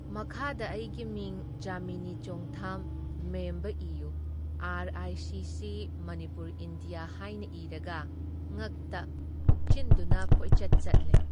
ꯃꯈꯥꯗ ꯑꯩꯒꯤ ꯃꯤꯡ ꯖꯥꯃꯤꯅꯤ Chongtham Memba U R I CC Manipur India ꯍꯥꯏꯅ ꯏꯔꯒ ꯉꯛꯇ ꯍꯨꯛꯆꯤꯟꯗꯨꯅ ꯀꯣꯏꯆꯠ ꯆꯠꯂꯦ ꯫